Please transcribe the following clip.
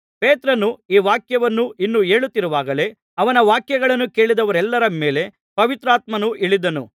ಪೇತ್ರನು ಈ ವಾಕ್ಯಗಳನ್ನು ಇನ್ನೂ ಹೇಳುತ್ತಿರುವಾಗಲೇ ಅವನ ವಾಕ್ಯಗಳನ್ನು ಕೇಳಿದವರೆಲ್ಲರ ಮೇಲೆ ಪವಿತ್ರಾತ್ಮನು ಇಳಿದನು